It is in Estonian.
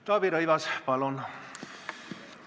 Taavi Rõivas, palun!